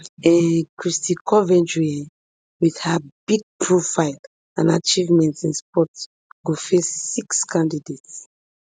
um kristy coventry um wit her big profile and achievements in sports go face six candidates